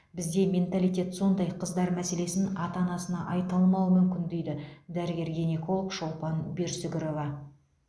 бізде менталитет сондай қыздар мәселесін ата анасына айта алмауы мүмкін дейді дәрігер гинеколог шолпан берсүгірова